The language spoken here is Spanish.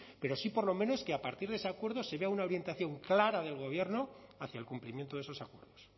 pero sí por lo menos que a partir de ese acuerdo se vea una orientación clara del gobierno hacia el cumplimiento de esos acuerdos